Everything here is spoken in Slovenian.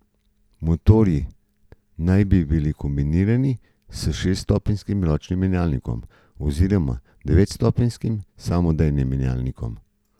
Motorji naj bi bili kombinirani s šeststopenjskim ročnim menjalnikom oziroma devetstopenjskim samodejnim menjalnikom.